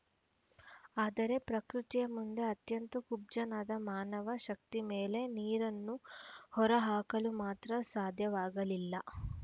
ಆದರೆ ಪ್ರಕೃತಿಯ ಮುಂದೆ ಅತ್ಯಂತ ಕುಬ್ಜನಾದ ಮಾನವ ಶಕ್ತಿ ಮೇಳೆ ನೀರನ್ನು ಹೊರ ಹಾಕಲು ಮಾತ್ರ ಸಾಧ್ಯವಾಗಲಿಲ್ಲ